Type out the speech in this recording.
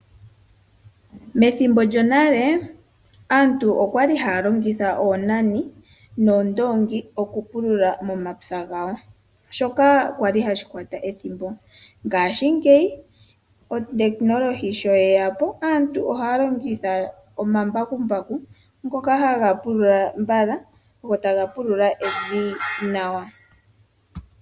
Methimbo lyonale aantu okwali haya longitha oonani noshowo oondongi, okupulula momapya gawo shoka hashi kwata ethimbo ngaashingeyi uutekunolohi sho weya po aantu ohaya longitha omambakumbaku ngoka haga pulula mbala go taga pulula evi nawa.